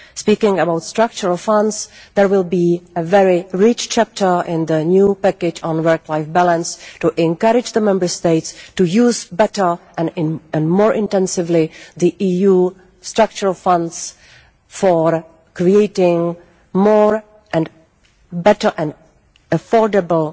Talking of Structural Funds, there will be a very rich chapter in the new package on work life balance to encourage the Member States to use better and more intensively the EU Structural Funds for creating more and better and affordable